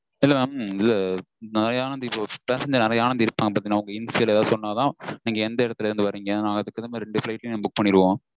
இல்ல mam இல்ல நீங்க முறையான details passengers அடையாளம் ஏதாவது சொன்னா தான் நீங்க எந்த எடத்துல இருந்து வரீங்க நாங்க அதுக்கு அப்பறம் ரெண்டு flight book பண்ணிடுவொம்